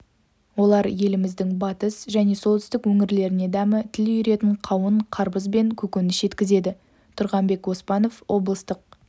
олар еліміздің батыс және солтүстік өңірлеріне дәмі тіл үйіретін қауын-қарбыз бен көкөніс жеткізеді тұрғанбек оспанов облыстық